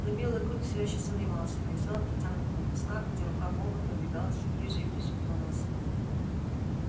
но белый клык все ещё сомневался и не взял протянутого куска хотя рука бога подвигалась все ближе и ближе к его носу